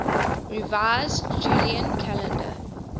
revised julian calendar